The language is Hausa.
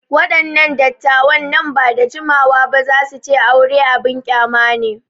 Waɗannan dattawan nan ba da jimawa ba za su ce aure abin ƙyama ne.